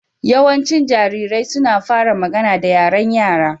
Yawancin jarirai suna fara magana da yaren Yara